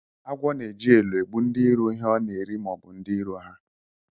Agwọ na eji elo egbu ndi iro ihe ọna eri ma obu ndi iro ha.